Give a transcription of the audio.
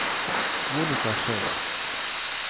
Monika Schei